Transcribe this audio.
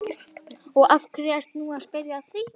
Og af hverju ertu nú að spyrja að því?